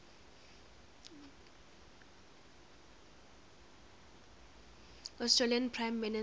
australian prime minister